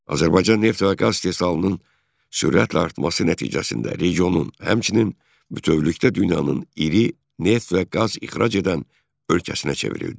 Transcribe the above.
Azərbaycan neft və qaz istehsalının sürətlə artması nəticəsində regionun, həmçinin bütövlükdə dünyanın iri neft və qaz ixrac edən ölkəsinə çevrildi.